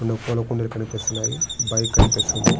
బయట రెండు పూల కుండీలు కనిపిస్తున్నాయి. బైక్ కనిపిస్తుంది.